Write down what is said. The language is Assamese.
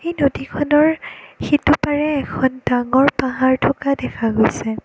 এই নদীখনৰ সিটো পাৰে এখন ডাঙৰ পাহাৰ থকা দেখা গৈছে।